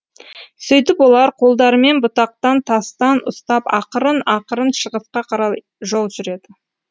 сөйтіп олар қолдарымен бұтақтан тастан ұстап ақырын ақырын шығысқа қарай жол жүреді